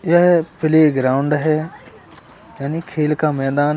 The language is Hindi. यह प्लेग्राउंड है यानी खेल का मैदान है।